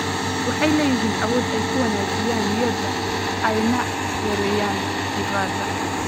Waxay leeyihiin awood ay ku wanaajiyaan niyadda ayna yareeyaan diiqada.